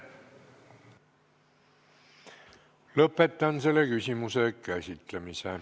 Lõpetan selle küsimuse käsitlemise.